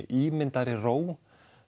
ímyndaðri ró